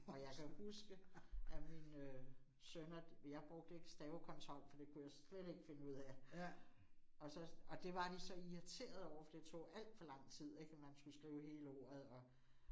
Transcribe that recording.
Og jeg kan huske at mine sønner, jeg brugte ikke stavekontrol for det kunne jeg slet ikke finde ud af, og så, og det var de så irriterede over for det tog alt for lang tid ik og man skulle skrive hele ordet og